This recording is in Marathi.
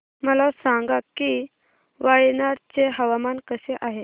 मला सांगा की वायनाड चे हवामान कसे आहे